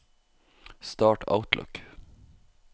start Outlook